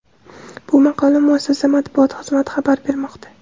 Bu haqda muassasa Matbuot xizmati xabar bermoqda.